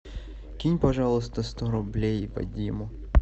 кинь пожалуйста сто рублей вадиму